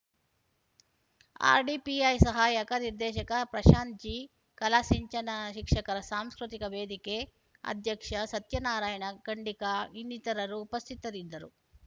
RDPI ಸಹಾಯಕ ನಿರ್ದೇಶಕ Prashanth G Kala Sinchana ಶಿಕ್ಷಕರ ಸಾಂಸ್ಕೃತಿಕ ವೇದಿಕೆ ಅಧ್ಯಕ್ಷ ಸತ್ಯನಾರಾಯಣ ಖಂಡಿಕಾ ಇನ್ನಿತರರು ಉಪಸ್ಥಿತರಿದ್ದರು